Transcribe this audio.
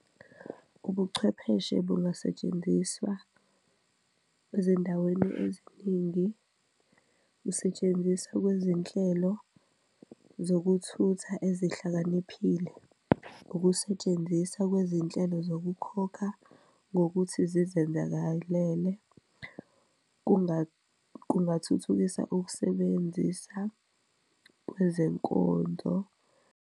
Ubuchwepheshe bungasetshenziswa ezindaweni eziningi, kusetshenziswa kwezinhlelo zokuthutha ezihlakaniphile, ukusetshenziswa kwezinhlelo zokukhokha ngokuthi zizenzakalele, kungathuthukisa ukusebenzisa kwezenkonzo.